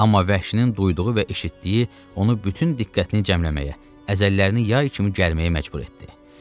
Amma vəhşinin duyduğu və eşitdiyi onu bütün diqqətini cəmləməyə, əzəllərini yay kimi gəlməyə məcbur etdi.